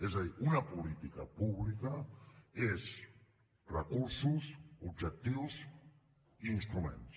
és a dir una política pública són recursos objectius i instruments